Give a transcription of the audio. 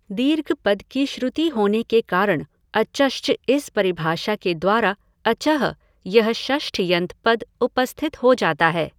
दीर्घ पद की श्रुति होने के कारण अचश्च इस परिभाषा के द्वारा अचः यह षष्ठ्यन्त पद उपस्थित हो जाता है।